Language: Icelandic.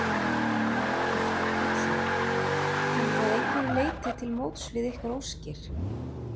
Hafsteinn Hauksson: Kemur það að einhverju leyti til móts við ykkar óskir?